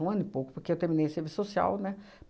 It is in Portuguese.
Um ano e pouco, porque eu terminei Serviço Social, né?